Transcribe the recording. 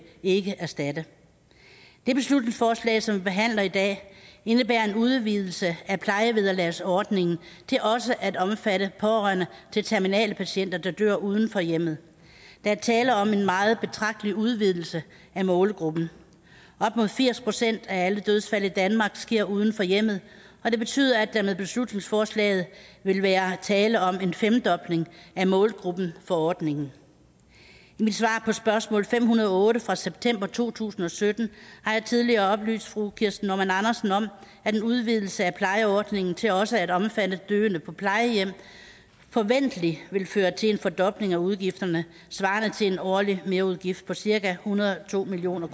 ikke erstatte det beslutningsforslag som vi behandler i dag indebærer en udvidelse af plejevederlagsordningen til også at omfatte pårørende til terminale patienter der dør uden for hjemmet der er tale om en meget betragtelig udvidelse af målgruppen op mod firs procent af alle dødsfald i danmark sker uden for hjemmet og det betyder at der med beslutningsforslaget vil være tale om en femdobling af målgruppen for ordningen i mit svar på spørgsmål nummer fem hundrede og otte fra september to tusind og sytten har jeg tidligere oplyst fru kirsten normann andersen om at en udvidelse af plejeordningen til også at omfatte døende på plejehjem forventeligt vil føre til en fordobling af udgifterne svarende til en årlig merudgift på cirka en hundrede og to million